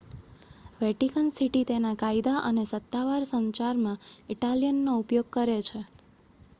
Vatican City તેના કાયદા અને સત્તાવાર સંચારમાં ઇટાલિયનનો ઉપયોગ કરે છે